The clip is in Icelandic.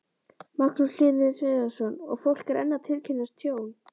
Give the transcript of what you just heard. Magnús Hlynur Hreiðarsson: Og fólk er enn að tilkynna tjón?